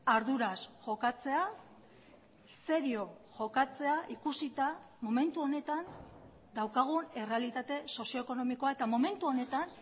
arduraz jokatzea serio jokatzea ikusita momentu honetan daukagun errealitate sozio ekonomikoa eta momentu honetan